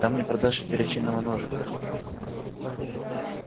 там не продашь и перочинного ножика